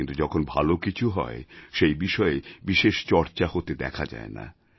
কিন্তু যখন ভাল কিছু হয় সেই বিষয়ে বিশেষ চর্চা হতে দেখা যায় না